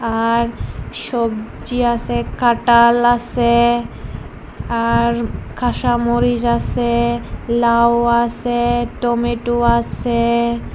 আর সবজি আসে কাঁটাল আসে আর কাঁসা মরিচ আসে লাউ আসে টমেটো আসে।